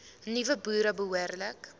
nuwe boere behoorlik